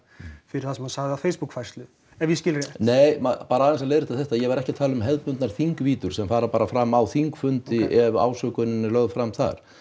fyrir það sem hann sagði á Facebook færslu ef ég skil rétt nei bara aðeins að leiðrétta þetta ég var ekki að tala um hefðbundnar sem fara bara fram á þingfundi ef ásökun er lögð fram þar